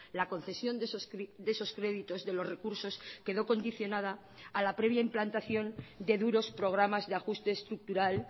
la concesión de esos créditos de los recursos quedó condicionada a la previa implantación de duros programas de ajuste estructural